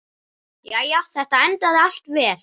Jæja, þetta endaði allt vel.